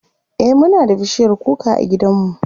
e Muna da bishiyar kuka a gidan mu